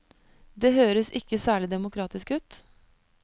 Det høres ikke særlig demokratisk ut?